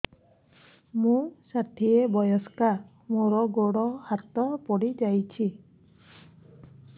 ମୁଁ ଷାଠିଏ ବୟସ୍କା ମୋର ଗୋଡ ହାତ ପଡିଯାଇଛି